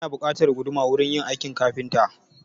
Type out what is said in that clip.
Ana buƙatar guduma wurin yin aikin kafinta.